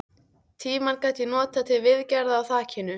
Tímann gat ég notað til viðgerða á þakinu.